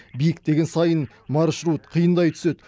биіктеген сайын маршрут қиындай түседі